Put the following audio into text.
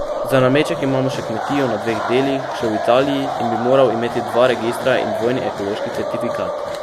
Za nameček imamo še kmetijo na dveh delih, še v Italiji, in bi moral imeti dva registra in dvojni ekološki certifikat.